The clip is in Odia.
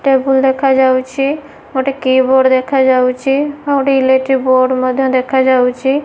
ଟେବୁଲ ଦେଖା ଯାଉଅଛି ଗୋଟେ କିବୋର୍ଡ଼ ଦେଖା ଯାଉଅଛି ଆଉ ଗୋଟେ ଏଲିକ୍ଟିକ ବୋର୍ଡ ମଧ୍ୟ ଦେଖା ଯାଉଅଛି।